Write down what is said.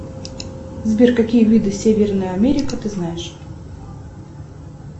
сбер какие виды северная америка ты знаешь